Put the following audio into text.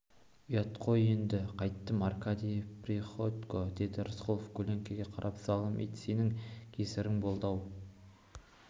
ұят қой ұят енді қайттім аркадий приходько деді рысқұлов көлеңкеге қарап залым ит сенің кесірің болды-ау